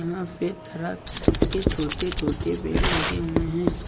यहां पे तरह तरह के छोटे छोटे पेड़ लगे हुए हैं।